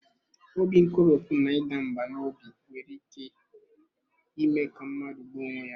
Obi nkoropụ na ịda mbà n'obi nwere ike ime ka mmadụ gbuo onwe ya.